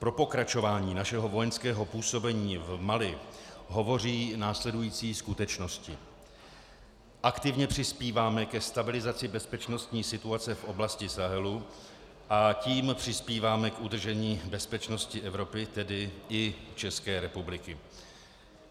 Pro pokračování našeho vojenského působení v Mali hovoří následující skutečnosti: Aktivně přispíváme ke stabilizaci bezpečnostní situace v oblasti Sahelu, a tím přispíváme k udržení bezpečnosti Evropy, tedy i České republiky.